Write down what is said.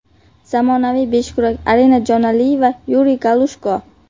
Zamonaviy beshkurash Arina Jonaliyeva, Yuriy Galushko.